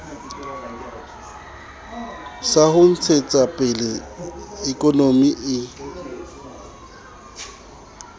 sa ho ntshetsapele ikonomi e